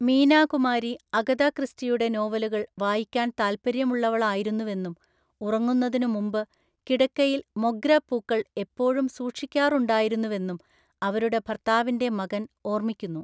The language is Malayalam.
മീനാ കുമാരി അഗത ക്രിസ്റ്റിയുടെ നോവലുകൾ വായിക്കാൻ താൽപ്പര്യമുള്ളവളായിരുന്നുവെന്നും ഉറങ്ങുന്നതിനുമുമ്പ് കിടക്കയിൽ മൊഗ്ര പൂക്കൾ എപ്പോഴും സൂക്ഷിക്കാറുണ്ടായിരുന്നുവെന്നും അവരുടെ ഭര്‍ത്താവിന്‍റെ മകന്‍ ഓർമ്മിക്കുന്നു.